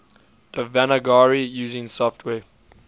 devanagari using software